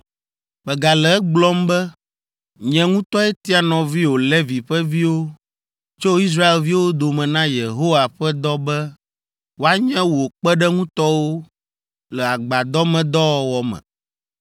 Megale egblɔm be, nye ŋutɔe tia nɔviwò Levi ƒe viwo tso Israelviwo dome na Yehowa ƒe dɔ be woanye wò kpeɖeŋutɔwo le agbadɔmedɔwɔwɔ me.